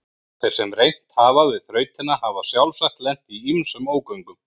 Þeir sem reynt hafa við þrautina hafa sjálfsagt lent í ýmsum ógöngum.